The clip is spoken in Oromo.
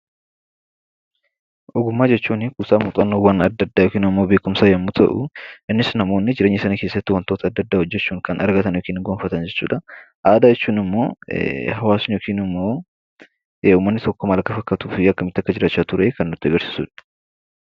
Ogummaa jechuun kuusaa muuxannoowwan adda addaa yookiin immoo beekumsa yommuu ta'u, innis namoonni jireenya isaanii keessatti wantoota adda addaa hojjechuun kan argatan (gonfatan) jechuu dha. Aadaa jechuun immoo hawaasni (ummanni) tokko maal akka fakkaatuu fi akkamitti akka jiraachaa ture kan nutti agarsiisu dha.